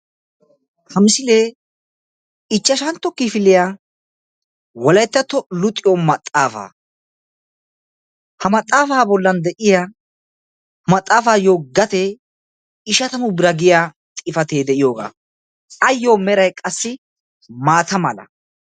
Ha misilee ichchashantto kifiliya wolayttatto luxiyo maxaafaa. Ha maxaafa bollan de'iya ha maxaafayo gatee ishatamu bira giya xifatee de'iyoogaa. Ayyo meray qassi maata mala.